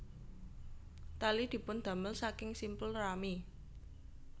Tali dipundamel saking simpul rami